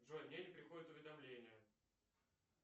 джой мне не приходят уведомления